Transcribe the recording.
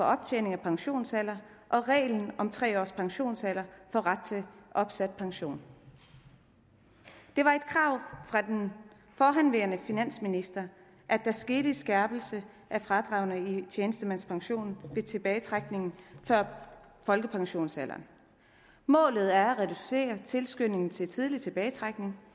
optjening af pensionsalder og reglen om tre års pensionsalder for ret til opsat pension det var et krav fra den forhenværende finansminister at der skete en skærpelse af fradragene i tjenestemandspensionen ved tilbagetrækning før folkepensionsalder målet er at reducere tilskyndelse til tidlig tilbagetrækning